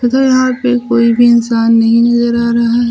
यहां पे कोई भी इंसान नहीं नजर आ रहा है।